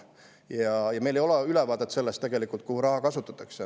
Tegelikult meil ei ole ülevaadet sellest, kuhu raha kasutatakse.